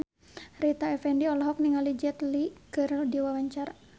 Rita Effendy olohok ningali Jet Li keur diwawancara